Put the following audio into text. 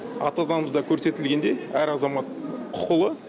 ата заңымызда көрсетілгендей әр азамат құқылы